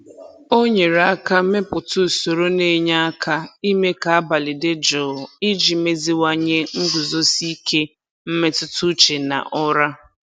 O nyere aka mepụta usoro na-enye aka ime ka abalị dị jụụ iji meziwanye nguzosi ike mmetụtauche na ụra.